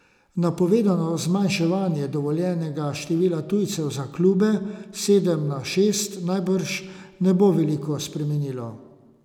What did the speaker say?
Napovedano zmanjšanje dovoljenega števila tujcev za klube s sedem na šest najbrž ne bo veliko spremenilo.